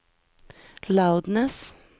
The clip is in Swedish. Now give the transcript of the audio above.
loudness